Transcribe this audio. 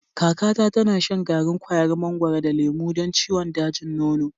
Kakata tana shan garin kwayar mangwaro da lemo don ciwon dajin nono.